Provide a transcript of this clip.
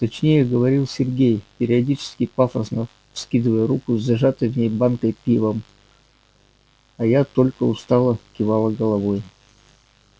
точнее говорил сергей периодически пафосно вскидывая руку с зажатой в ней банкой пивом а я только устало кивала головой